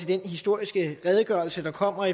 den historiske redegørelse der kommer